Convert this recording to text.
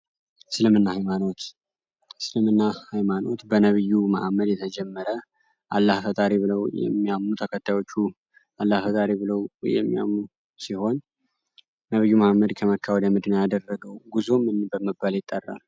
እስልምና ሀይማኖት እስልምና ሀይማኖት በነብዩ መሀመድ የተጀመረ ተከታዮቹ አላህ ፈጣሪ ብለው የሚያምኑ ሲሆን ነብዩ መሀመድ ከመካ ወደ መዲና ያደረገው ጉዞ ምን በመባል ይጠራል?